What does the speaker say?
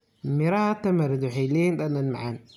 Midhaha tamarind waxay leeyihiin dhadhan macaan.